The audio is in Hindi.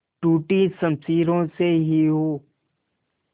टूटी शमशीरों से ही हो